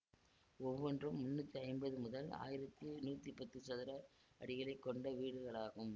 ஒவ்வொன்றும் முன்னூத்தி ஐம்பது முதல் ஆயிரத்தி நூத்தி பத்து சதுர அடிகளை கொண்ட வீடுகளாகும்